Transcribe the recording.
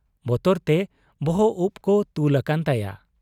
ᱵᱚᱛᱚᱨᱛᱮ ᱵᱚᱦᱚᱵ ᱩᱯ ᱠᱚ ᱛᱩᱞ ᱟᱠᱟᱱ ᱛᱟᱭᱟ ᱾